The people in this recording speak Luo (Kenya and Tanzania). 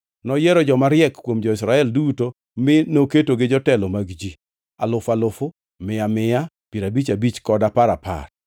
Noyiero joma riek kuom jo-Israel duto mi noketogi jotelo mag ji alufu alufu, mia mia, piero abich abich, kod apar apar.